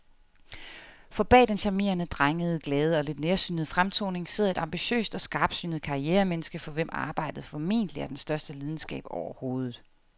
For bag den charmerende, drengede, glade og lidt nærsynede fremtoning sidder et ambitiøst og skarpsynet karrieremenneske, for hvem arbejdet formentlig er den største lidenskab overhovedet.